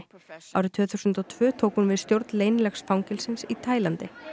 árið tvö þúsund og tvö tók hún við stjórn leynilegs fangelsins í Taílandi